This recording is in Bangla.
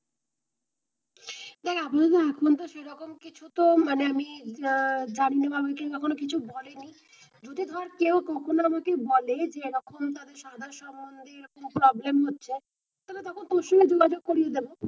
দেখ এখন সেরকম কিছু তো মানে আমি আহ কিছু এখন বলে নি যদি ধর কেও কখনো বলেছে এরকম সম্মন্ধে খুব problem হচ্ছে তাহলে তখন তোর সঙ্গে যোগাযোগ করিয়ে দেবো।